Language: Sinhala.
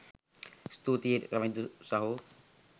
ස්තුතියි රවිදු සහෝ